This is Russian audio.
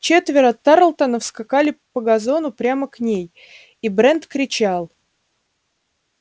четверо тарлтонов скакали по газону прямо к ней и брент кричал